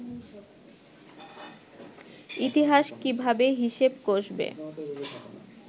ইতিহাস কীভাবে হিসেব কষবে